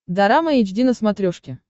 дорама эйч ди на смотрешке